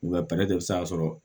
U ka sɔrɔ